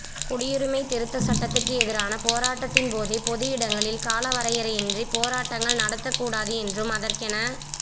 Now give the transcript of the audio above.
குடியுரிமை திருத்த சட்டத்துக்கு எதிரான போராட்டத்தின் போதே பொது இடங்களில் காலவரையின்றி பேராட்டங்கள் நடத்த கூடாது என்றும் அதற்கென